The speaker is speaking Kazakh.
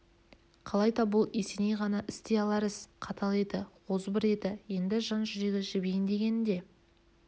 қалайда бұл есеней ғана істей алар іс қатал еді озбыр еді енді жан жүрегі жібиін дегені де